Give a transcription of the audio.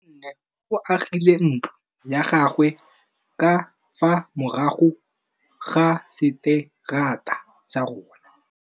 Nkgonne o agile ntlo ya gagwe ka fa morago ga seterata sa rona.